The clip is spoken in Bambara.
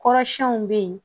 Kɔrɔsiyɛnw bɛ yen